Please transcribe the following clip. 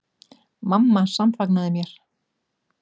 Mamma samfagnaði mér.